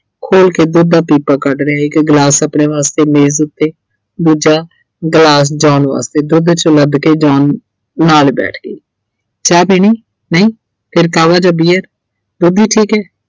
ਖੋਲ ਕੇ ਦੁੱਧ ਦਾ ਪੀਪਾ ਕੱਢ ਲਿਆਈ ਇੱਕ glass ਆਪਣੇ ਵਾਸਤੇ ਮੇਜ਼ ਉੱਤੇ, ਦੂਜਾ glass, John ਵਾਸਤੇ ਦੁੱਧ 'ਚ ਕੇ John ਨਾਲ ਬੈਠ ਗਈ ਚਾਹ ਪੀਣੀ ਨਹੀਂ ਫਿਰ ਜਾਂ beer ਦੁੱਧ ਹੀ ਠੀਕ ਐ।